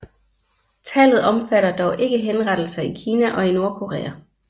Tallet omfatter dog ikke henrettelser i Kina og i Nordkorea